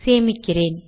சேமிக்கிறேன்